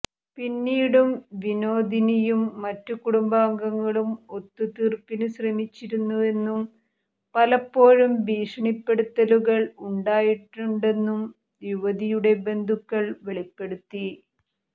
പിന്നീടും വിനോദിനിയും മറ്റ് കുടുംബാംഗങ്ങളും ഒത്തുതീർപ്പിന്ശ്രമിച്ചിരുന്നുവെന്നും പലപ്പോഴും ഭീഷണിപ്പെടുത്തലുകൾ ഉണ്ടായിട്ടുണ്ടെന്നും യുവതിയുടെ ബന്ധുക്കൾ വെളിപ്പെടുത്തി